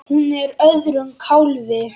Hún er á öðrum kálfi.